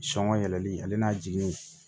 Sɔngɔ yɛlɛli ale n'a jigin